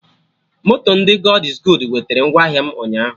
Moto ndị God iz goodu wetera ngwa ahịa m ụnyaahụ